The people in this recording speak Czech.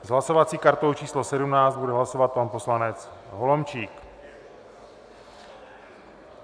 S hlasovací kartou číslo 17 bude hlasovat pan poslanec Holomčík.